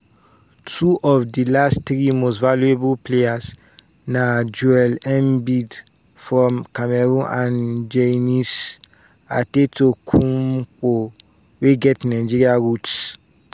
"two of di last three most valuable players na joel embiid from cameroon and giannis antetokounmpo wey get nigerian roots.